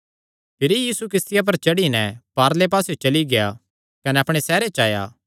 भिरी यीशु किस्तिया पर चढ़ी नैं पारले पास्सेयो चली गेआ कने अपणे सैहरे च आया